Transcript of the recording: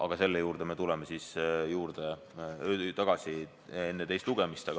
Aga selle juurde me tuleme siis tagasi enne teist lugemist.